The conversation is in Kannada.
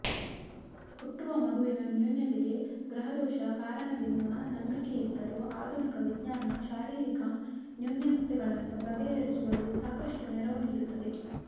ಹುಟ್ಟುವ ಮಗುವಿನ ನ್ಯೂನತೆಗೆ ಗ್ರಹದೋಷ ಕಾರಣವೆನ್ನುವ ನಂಬಿಕೆಯಿದ್ದರೂ ಆಧುನಿಕ ವಿಜ್ಞಾನ ಶಾರೀರಿಕ ನ್ಯೂನತೆಗಳನ್ನು ಬಗೆಹರಿಸುವಲ್ಲಿ ಸಾಕಷ್ಟು ನೆರವು ನೀಡುತ್ತದೆ